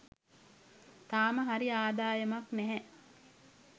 තාම හරි ආදායමක් නැහැ